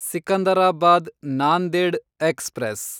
Secunderabad Nanded express